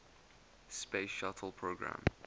space shuttle program